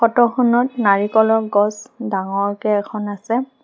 ফটোখনত নাৰিকলৰ গছ ডাঙৰকে এখন আছে।